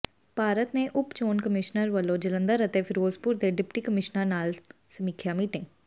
ਭਾਰਤ ਦੇ ਉਪ ਚੋਣ ਕਮਿਸ਼ਨਰ ਵੱਲੋਂ ਜਲੰਧਰ ਅਤੇ ਫਿਰੋਜ਼ਪੁਰ ਦੇ ਡਿਪਟੀ ਕਮਿਸ਼ਨਰਾਂ ਨਾਲ ਸਮੀਖਿਆ ਮੀਟਿੰਗ